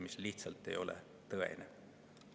See lihtsalt ei ole tõsi.